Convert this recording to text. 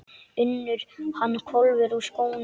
UNNUR: Hann hvolfir úr skónum.